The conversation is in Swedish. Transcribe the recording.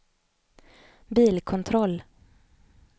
bilkontroll